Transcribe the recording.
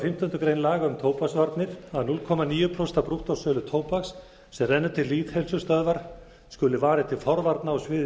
fimmtándu grein laga um tóbaksvarnir að núll komma níu prósent af brúttósölu tóbaks sem rennur til lýðheilsustöðvar skuli varið til forvarna á sviði